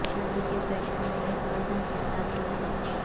شادی کے فیشن میں ایک پردہ کے ساتھ ٹوپی